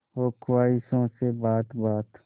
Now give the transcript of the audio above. हो ख्वाहिशों से बात बात